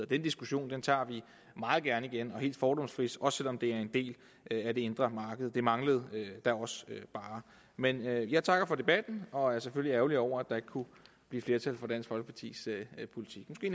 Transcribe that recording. den diskussion tager vi meget gerne igen og helt fordomsfrit også selv om det er en del af det indre marked det manglede da også bare men jeg takker for debatten og er selvfølgelig ærgerlig over at der ikke kunne blive flertal for dansk folkepartis politik det